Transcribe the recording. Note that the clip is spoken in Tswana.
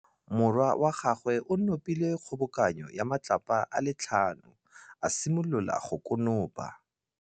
Morwa wa gagwe o nopile kgobokanô ya matlapa a le tlhano, a simolola go konopa.